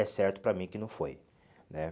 É certo para mim que não foi, né?